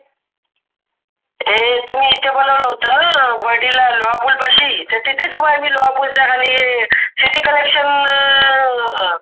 हे तुम्ही इथ बोलवल होत वडीला लोहापूल पाशी तर तिथेच उभा आहे मी लोहापूलच्या खाली city collection.